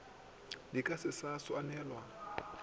di ka se sa swanelwa